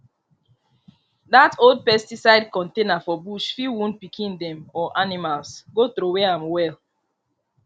dat old pesticide contaner for bush fit wound pikin dem or animalsgo throwaway am well